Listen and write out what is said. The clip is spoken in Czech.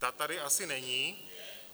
Ta tady asi není.